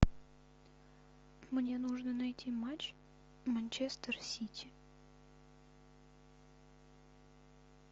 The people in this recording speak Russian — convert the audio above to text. мне нужно найти матч манчестер сити